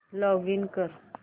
login कर